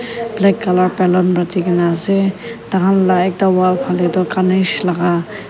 black colour balloon bandikena ase dakhan la ekta wall pahle tu Ganesh la.